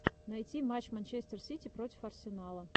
найти матч манчестер сити против арсенала